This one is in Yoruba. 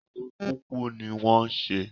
Ohun kúkú ní wọ́n ń ṣe